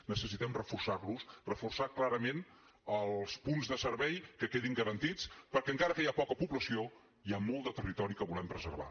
necessitem reforçar los reforçar clarament els punts de servei que quedin garantits perquè encara que hi ha poca població hi ha molt de territori que volem preservar